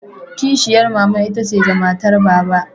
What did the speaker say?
Kishiyar mama itace ga matar Baba.